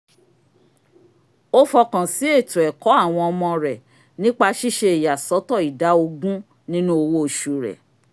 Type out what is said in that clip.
ó fọkàn sí ètò ẹ̀kọ́ àwọn ọmọ rẹ̀ nípa síṣe ìyàsọ́tọ̀ ìdá ogún nínú owó osù rẹ̀